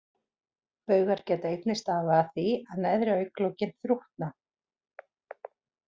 Baugar geta einnig stafað af því að neðri augnlokin þrútna.